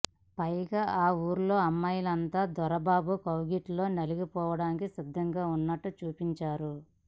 పైగా ఆ ఊర్లో అమ్మాయిలంతా దొరబాబు కౌగిట్లో నలిగిపోవడానికి సిద్ధంగా ఉన్నట్టు చూపించారు